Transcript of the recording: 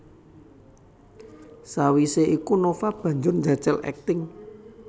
Sawisé iku Nova banjur njajal akting